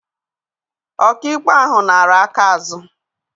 Ọkaikpe ahụ nara aka azụ.